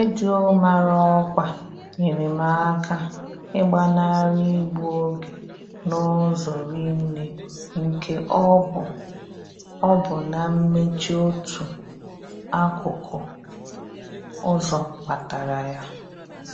Redio mara ọkwa nyere m aka ịgbanarị igbu oge n'ụzọ rinne nke ọ bụ ọ bụ na mmechi otu akụkụ ụzọ kpatara ya.